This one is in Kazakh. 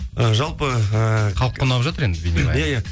і жалпы ііі халыққа ұнап жатыр енді